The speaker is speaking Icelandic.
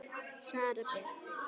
Sara Björk.